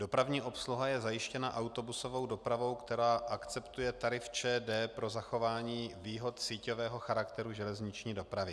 Dopravní obsluha je zajištěna autobusovou dopravou, která akceptuje tarif ČD pro zachování výhod síťového charakteru železniční dopravy.